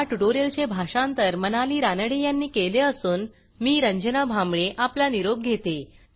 ह्या ट्युटोरियलचे भाषांतर मनाली रानडे यांनी केले असून मी रंजना भांबळे आपला निरोप घेते